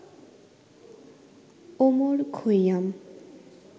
Omar Khayyam